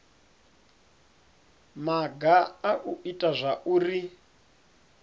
maga a u ita zwauri